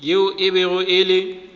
yeo e bego e le